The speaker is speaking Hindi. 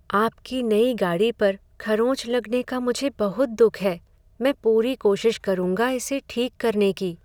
आपकी नई गाड़ी पर खरोंच लगने का मुझे बहुत दुख है। मैं पूरी कोशिश करूंगा इसे ठीक करने की।